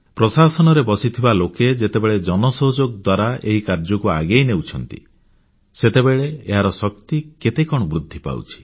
ପ୍ରଶାସନରେ ବସିଥିବା ଲୋକେ ଯେତେବେଳେ ଜନ ସହଯୋଗ ଦ୍ୱାରା ଏହି କାର୍ଯ୍ୟକୁ ଆଗେଇ ନେଉଛନ୍ତି ସେତେବେଳେ ଏହାର ଶକ୍ତି କେତେ କଣ ବୃଦ୍ଧି ପାଉଛି